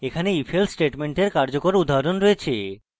এখানে ইতিমধ্যে ifelse স্টেটমেন্টের কার্যকর উদাহরণ রয়েছে